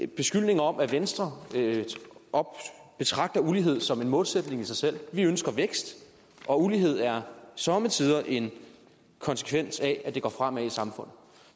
beskyldninger om at venstre betragter ulighed som en målsætning i sig selv vi ønsker vækst og ulighed er somme tider en konsekvens af at det går fremad i samfundet